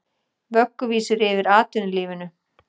Vögguvísur yfir atvinnulífinu